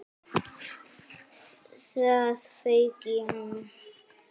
Það fauk í hana.